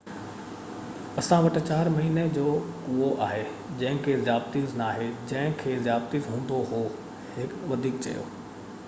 اسان وٽ 4 مهيني جو ڪوئو آهي جنهن کي ذيابيطس ناهي جنهن کي ذيابيطس هوندو هو هن وڌيڪ چيو